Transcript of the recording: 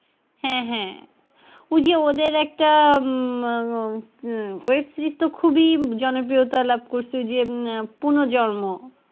হ্যাঁ হ্যাঁ ঐযে ওদের একটা উম web series তো খুবই জনপ্রিয়তা লাভ করেছে ঐযে উম পুনর্জন্ম।